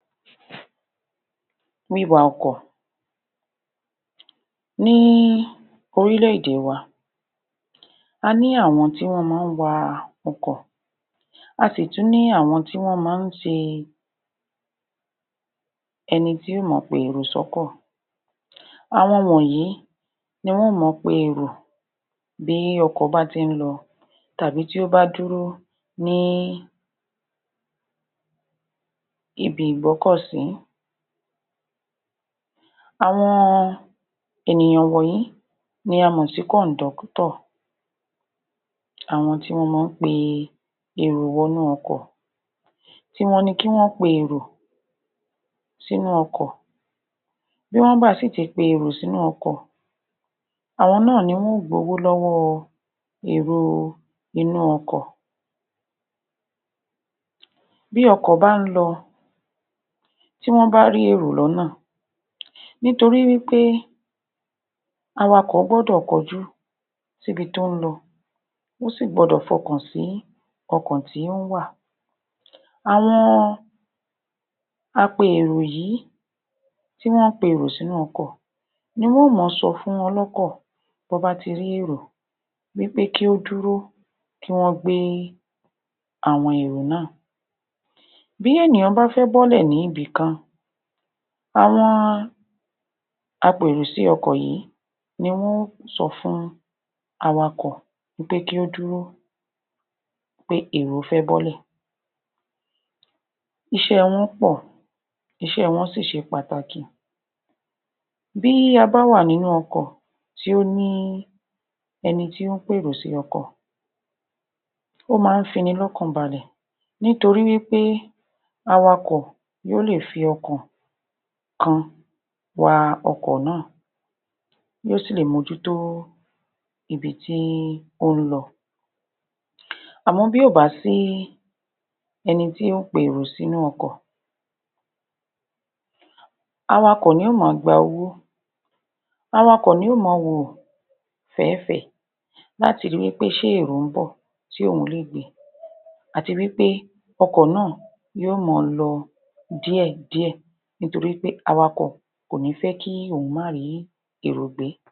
Wíwa ọkọ̀ ní orílẹ̀-èdè wa, a ní àwọn tí wọ́n máa ń wa ọkọ̀, a sì tún ní àwọn tí wọ́n máa ń ṣe ẹni tí yó máa pe èrò sọ́kọ̀, àwọn wọ̀nyìí ni wọ́n máa pe èrò bí ọkọ̀ bá ti ń lọ tàbí tí ó bá dúró ní ibi-ìgbọ́kọ̀-sí àwọn ènìyàn wọ̀nyìí ni a mọ̀ sí (conductor) kọnídọ́tọ̀ àwọn tí wọ́n máa ń pe èrò wọ inú ọkọ̀, ti wọn ni kí wọ́n pe èrò sínú ọkọ̀, bí wọ́n bá sì ti pe èrò sí inú ọkọ̀, àwọn náà ni yóo gbowó lọ́wọ́ èrò inú ọkọ̀. Bí ọkọ̀ bá ń lọ́, bí wọ́n bá ń pe èrò l'ọ́nà, nítorí wí pé awakọ̀ gbọ́dọ̀ kọjú síbi tó ń lọ, ó si gbọdọ̀ f'ọkàn sí ọkọ̀ tí ó ń wà. Àwọn ape-èrò yìí, tí wọ́n pe èrò sínú ọkọ̀ ni wọ́n máa sọ fún ọlọ́kọ̀ bọ́ bá ti rí èrò wí pé kí ó dúró, kí wọ́n gbé àwọn èrò náà. Bí ènìyàn bá fẹ́ bọ́lẹ̀ ní ibì kan, àwọn ape-èrò sí ọkọ̀ yìí ni wọn ó sọ fún awakọ̀ pé kí ó dúró, pé èrò fẹ́ bọ́lẹ̀. iṣẹ́ wọn pọ̀, iṣẹ́ wọ́n si ṣe pàtàkì. Bí a bá wà nínú ọkọ̀ tí ó ní ẹni tí ó ń p'èrò sí ọkọ̀, ó máa ń fi ni l'ọ́kàn balè nítorí wí pé awakọ̀ yóo le fi ọkàn kan wa ọkọ̀ náà, yóo sì lè mójútó ibi tí ó ń lọ. Àmọ́ bí ò bá sí ẹni tí ó ń pe èrò sínú ọkọ̀, awakọ̀ ni yóo máa gba owó, awakọ̀ ni yóo máa wò fẹ̀é-fẹ̀ẹ́ láti ri pé ṣé èrò ń bọ̀ tí òun lé gbè à ti wí pé ọkọ̀ náà yóo máa lọ díẹ̀-dị́ẹ̀, nítorí wí pé awakọ̀ kò ní fẹ́ kí òun máa rí èrò gbé.